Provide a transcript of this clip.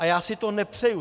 A já si to nepřeju.